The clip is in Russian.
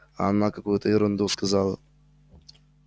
а она какую-то ерунду сказала